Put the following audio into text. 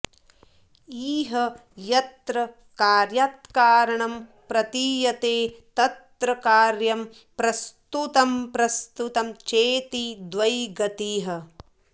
इह यत्र कार्यात्कारणं प्रतीयते तत्र कार्यं प्रस्तुतमप्रस्तुतं चेति द्वयी गतिः